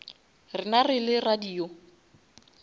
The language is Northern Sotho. rena re le radio